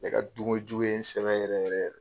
Ne ka dun kojugu ye in sɛgɛn yɛrɛ yɛrɛ.